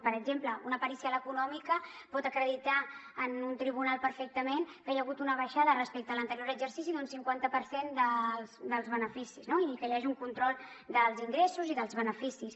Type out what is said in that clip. per exemple una pericial econòmica pot acreditar en un tribunal perfectament que hi ha hagut una baixada respecte a l’anterior exercici d’un cinquanta per cent dels beneficis no i que hi hagi un control dels ingressos i dels beneficis